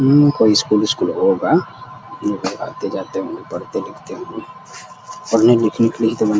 हम्म कोई school school होगा। लोग आते जाते होंगे। पढ़ते लिखते होंगे। पढ़ने लिखने के लिए ही तो बन --